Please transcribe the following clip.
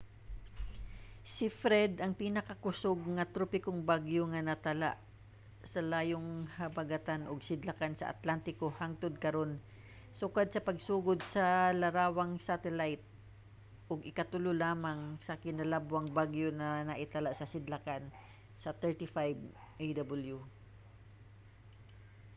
si fred ang pinakakusog nga tropikong bagyo nga natala sa layong habagatan ug sidlakan sa atlantiko hangtod karon sukad sa pagsugod sa larawang satelayt ug ikatulo lamang kinalabwang bagyo nga natala sidlakan sa 35â°w